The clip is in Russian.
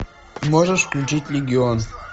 можешь включить легион